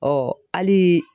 hali